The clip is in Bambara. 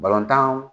Balontan